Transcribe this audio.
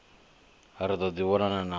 ri ḓo ḓi vhonana na